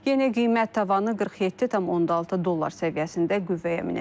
Yeni qiymət tavanı 47,6 dollar səviyyəsində qüvvəyə minəcək.